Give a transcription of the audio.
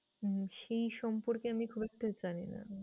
উম সেই সম্পর্কে আমি খুব একটা জানি না।